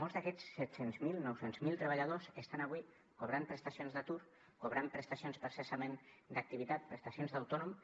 molts d’aquests set cents miler nou cents miler treballadors estan avui cobrant prestacions d’atur cobrant prestacions per cessament d’activitat prestacions d’autònom